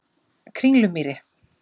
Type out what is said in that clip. Kringlumýri